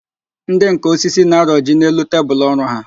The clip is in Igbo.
Ndị nká osisi na-arọji n'elu tebulu ọrụ ha